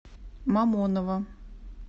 мамонова